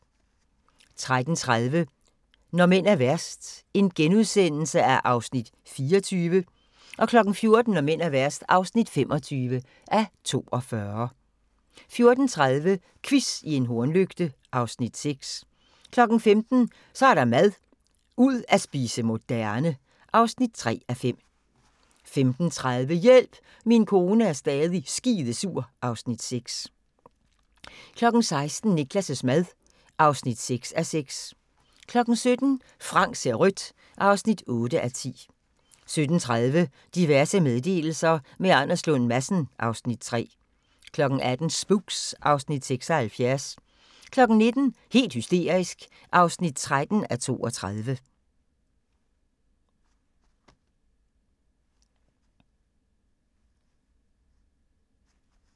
13:30: Når mænd er værst (24:42)* 14:00: Når mænd er værst (25:42) 14:30: Quiz i en hornlygte (Afs. 6) 15:00: Så er der mad - ud at spise moderne (3:5) 15:30: Hjælp, min kone er stadig skidesur (Afs. 6) 16:00: Niklas' mad (6:6) 17:00: Frank ser rødt (8:10) 17:30: Diverse meddelelser – med Anders Lund Madsen (Afs. 3) 18:00: Spooks (Afs. 76) 19:00: Helt hysterisk (13:32)